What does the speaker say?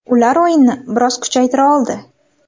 Ular o‘yinni biroz kuchaytira oldi.